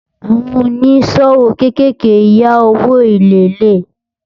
àwọn òní ṣòwò kékèké yá òwò èlé lè